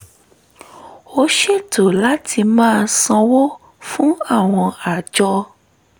ó ṣètò láti máa sanwó fún àwọn àjọ